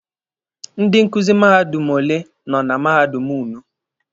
Ndị nkuzi mahadum ole nọ na mahadum ụnụ?